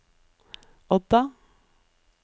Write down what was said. Odda